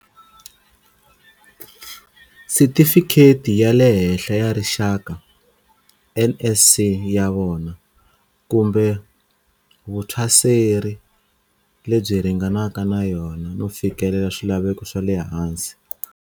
Sitifikheti ya le Henhla ya Rixaka, NSC, ya vona, kumbe vuthwaseri lebyi ringanaka na yona, no fikelela swilaveko swa le hansi.